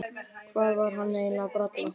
Hvað var hann eiginlega að bralla?